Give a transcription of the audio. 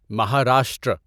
Maharashtra